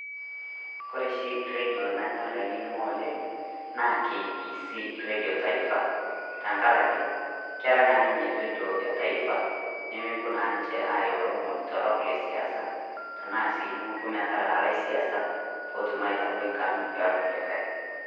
Kore sii redio nanyorr anining'o oleng naa KBC redio taifaa tang'araki keraa naa ninye redio e taifaa nemepoo naa ninche eyau loimoni torrok le siasa tana si nemupoo metalaa le siasak pee etum aitaroi nkaarin le nkulikai .